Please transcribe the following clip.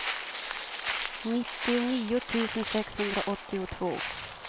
nittionio tusen sexhundraåttiotvå